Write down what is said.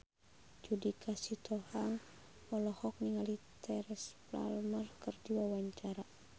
Judika Sitohang olohok ningali Teresa Palmer keur diwawancara